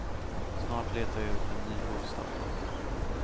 Snart letar jag upp en ny bostad.